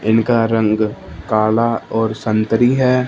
इनका रंग काला और संतरी है।